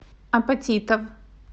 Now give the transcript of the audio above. апатитов